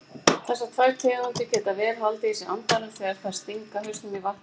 Þessar tvær tegundir geta vel haldið í sér andanum þegar þær stinga hausnum í vatn.